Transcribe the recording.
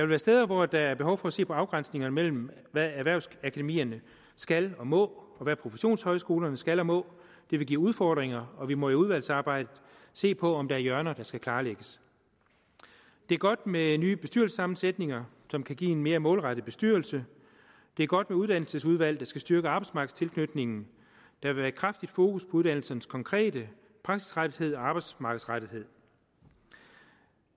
være steder hvor der er behov for at se på afgrænsningerne mellem hvad erhvervsakademierne skal og må og hvad professionshøjskolerne skal og må det vil give udfordringer og vi må i udvalgsarbejdet se på om der er hjørner der skal klarlægges det er godt med nye bestyrelsessammensætninger som kan give en mere målrettet bestyrelse det er godt med uddannelsesudvalg der skal styrke arbejdsmarkedstilknytningen der vil være kraftigt fokus på uddannelsernes konkrete praksisrettethed og arbejdsmarkedsrettethed